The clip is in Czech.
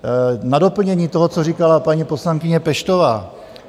Na doplnění toho, co říkala paní poslankyně Peštová.